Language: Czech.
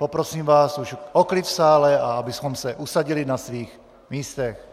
Poprosím vás už o klid v sále, a abyste se usadili na svých místech.